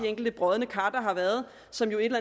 enkelte brodne kar der har været og som jo et